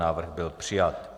Návrh byl přijat.